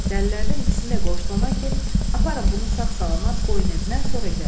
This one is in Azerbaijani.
Dəlilərdən ikisini də qoşdu ona ki, aparın bunu sağ-salamat qoyun evinə, sonra gəlin.